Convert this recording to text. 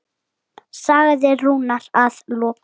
sagði Rúnar að lokum.